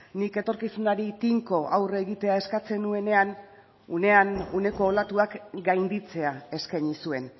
nik etorkizunari tinko aurre egitea eskatzen nuenean unean uneko olatuak gainditzea eskaini zuen